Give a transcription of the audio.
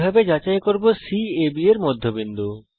কিভাবে যাচাই করব C AB এর মধ্যবিন্দু